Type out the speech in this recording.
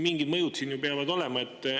Mingid mõjud peavad sellel ju olema.